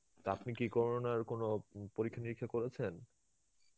তা আপনি কি corona র কোনো উম পরীক্ষা নিরীক্ষা করেছেন?